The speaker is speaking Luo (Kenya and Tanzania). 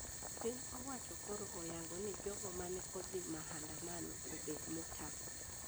Piny owacho koro oyango ni jogo mane odhi maandamano obed motang`